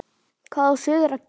Hvað á suður að gera?